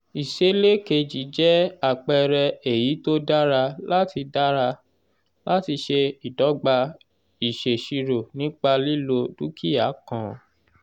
ìsèlè keji jẹ́ àpẹẹrẹ èyí tó dára láti dára láti ṣe ìdogba ìsèṣirò nípa lílo dúkìá kan.